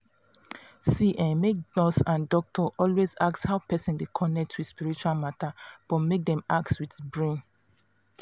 see[um]make nurse and doctor always ask how person dey connect with spiritual matter but make dem ask with brain.